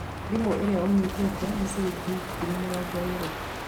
Thimũ ĩrĩa ũnyitĩte nĩ ciringi ngiri mĩrongo ĩĩrĩ